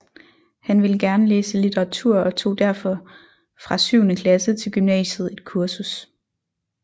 Han ville gerne læse litteratur og tog derfor fra syvende klasse til gymnasiet et kursus